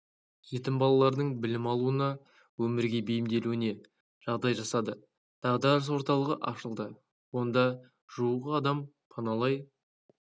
жетім балалардың білім алуына өмірге бейімделуіне жағдай жасады дағдарыс орталығы ашылды онда жуық адам паналай